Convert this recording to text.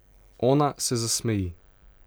Ona se zasmeji.